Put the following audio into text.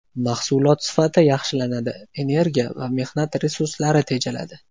Mahsulot sifati yaxshilanadi, energiya va mehnat resurslari tejaladi.